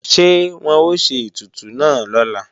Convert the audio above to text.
Ṣé wọ́n ó ṣe ètùtù náà lọ́la